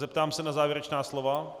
Zeptám se na závěrečná slova.